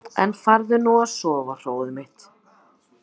En farðu nú að sofa, hróið mitt.